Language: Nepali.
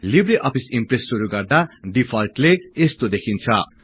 लिब्रे अफिस ईम्प्रेस शुरु गर्दा डिफल्टले यस्तो देखिन्छ